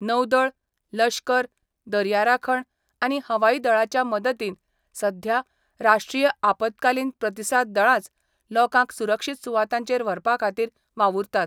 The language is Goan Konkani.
नौदळ, लश्कर, दर्या राखण, आनी हवाई दळाच्या मदतीन सध्या राष्ट्रीय आपतकालीन प्रतिसाद दळाच लोकांक सुरक्षीत सुवातांचेर व्हरपा खातीर वावुरतात.